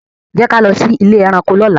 Jẹ ki a lọ si ile ẹranko lọla.